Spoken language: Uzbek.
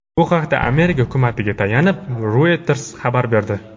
Bu haqda Amerika hukumatiga tayanib, Reuters xabar berdi .